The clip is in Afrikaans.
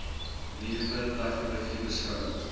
nuwe tegnologie beskou